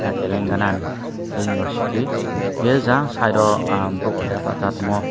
telengana ni tei university tei jang side o borok keha basai tongmo.